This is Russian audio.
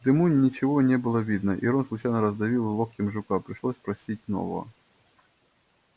в дыму ничего не было видно и рон случайно раздавил локтем жука пришлось просить нового